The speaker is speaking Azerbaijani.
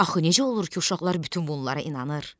Axı necə olur ki, uşaqlar bütün bunlara inanır?